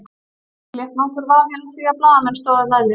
Ekki lék nokkur vafi á því að blaðamenn stóðu með mér.